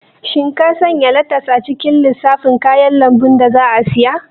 Shin ka sanya letas a cikin lissafin kayan lambu da za a siya?